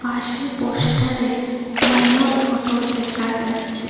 পাশে পোস্টারে মোমোর ফটো দেখা যাচ্ছে।